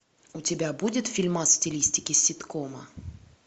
у тебя будет фильмас в стилистике ситкома